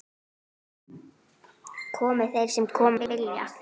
Komi þeir sem koma vilja.